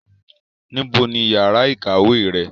níbo ni yàrá ìkàwé rẹ?